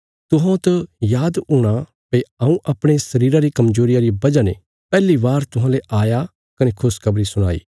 तुहौं त याद हूणा भई हऊँ अपणे शरीरा री कमजोरिया रिया वजह ने पैहली बार तुहांले आया कने खुशखबरी सुणाई